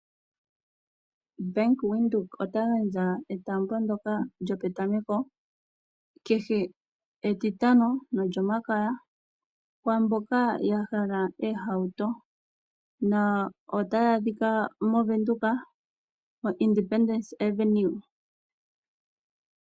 Bank Windhoek ota gandja etaambo ndyoka lyopetameko. Kehe etitano molyomakaya Kwaamboka yahala oohauto , otaya adhika mOvenduka Independence Avenue.